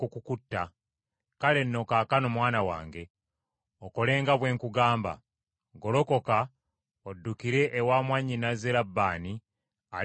Kale nno kaakano mwana wange, okole nga bwe nkugamba: Golokoka oddukire ewa, mwannyinaze Labbaani ali mu Kalani,